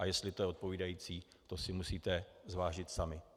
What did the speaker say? A jestli to je odpovídající, to si musíte zvážit sami.